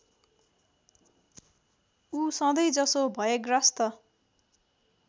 ऊ सधैँजसो भयग्रस्त